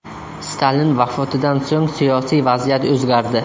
Stalin vafotidan so‘ng siyosiy vaziyat o‘zgardi.